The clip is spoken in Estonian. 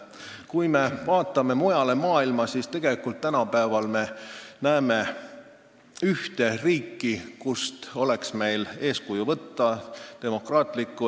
Kui me vaatame mujale maailma, siis tegelikult me näeme ühte demokraatlikku, euroopalikku riiki, kust oleks meil eeskuju võtta.